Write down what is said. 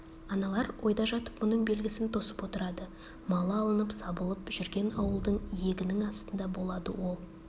аналар ойда жатып мұның белгісін тосып отырады малы алынып сабылып жүрген ауылдың иегінің астында болады ол